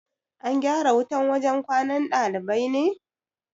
An gyara wutan wajan kwanan ɗalibai ne?